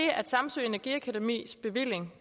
at samsø energiakademis bevilling